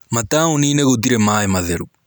Mataũninĩ gũtirĩ maĩ matheru.